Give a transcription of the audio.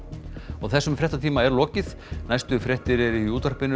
þessum fréttatíma er lokið næstu fréttir eru í útvarpi